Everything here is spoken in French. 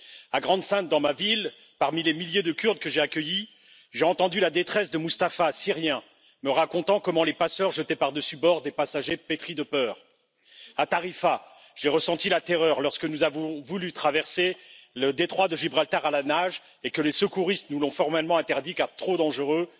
À Grande Synthe, dans ma ville, parmi les milliers de Kurdes que j'ai accueillis, j'ai entendu la détresse de Mustapha, syrien, me racontant comment les passeurs jetaient par dessus bord des passagers pétris de peur. À Tarifa, j'ai ressenti la terreur lorsque nous avons voulu traversé le détroit de Gibraltar à la nage et que les secouristes nous l'ont formellement interdit car trop dangereux.